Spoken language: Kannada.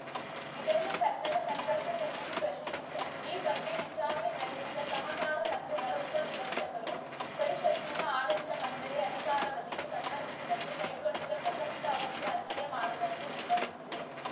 ಇದನ್ನು ಕನ್ನಡ ಸಂಘರ್ಷ ಸಮಿತಿ ಪ್ರಶ್ನಿಸಿತ್ತು ಈ ಬಗ್ಗೆ ವಿಚಾರಣೆ ನಡೆಸಿದ ಸಹಕಾರ ಸಂಘಗಳ ಉಪ ನಿಬಂಧಕರು ಪರಿಷತ್ತಿನ ಆಡಳಿತ ಮಂಡಳಿಯ ಅಧಿಕಾರಾವಧಿಗೆ ಸಂಬಂಧಿಸಿದಂತೆ ಕೈಗೊಂಡಿದ್ದ ಪ್ರಸಕ್ತ ಅವಧಿಗೆ ಅನ್ವಯ ಮಾಡದಂತೆ ನಿರ್ಬಂಧಿಸಿದೆ